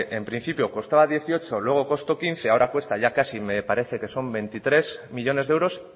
en principio costaba dieciocho luego costó quince ahora cuesta ya casi me parece que son veintitrés millónes de euros